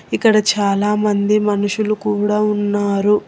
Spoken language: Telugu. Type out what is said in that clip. ఇక్కడ చాలా మంది మనుషులు కూడా ఉన్నారు.